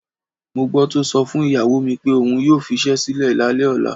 Mo gbó̩ tó so̩ fún ìyàwó mi pé òun yóò fis̩é̩ sílè̩ lálé̩ ò̩la.